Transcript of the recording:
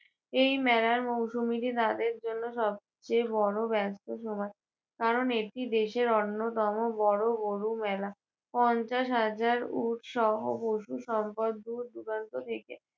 এই মেলার মৌসুমীটি তাদের জন্য সবচেয়ে বড় ব্যস্ত সময় কারণ এটি দেশের অন্যতম বড় গরু মেলা। পঞ্চাশ হাজার উটসহ পশুসম্পদ দূর দূরান্ত থেকে